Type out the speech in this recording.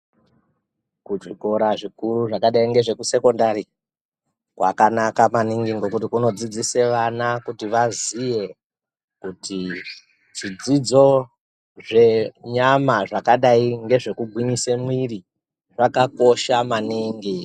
Kuzvikora zvikuru zvakadai nekusekindari kwakanaka maningi ngekuti kunodzidzisa vana kuti vazive kuti zvidzidzo zvenyama zvakadai ngekugwinyisa mwiri zvakakosha maningi.